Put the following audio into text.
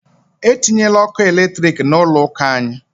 E tinyela ọkụ eletrik n'ụlọ ụka anyị!